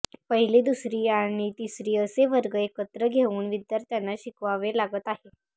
पहिली दुसरी आणि तीसरी असे वर्ग एकत्र घेऊन विद्यार्थ्यांना शिकवावे लागत आहे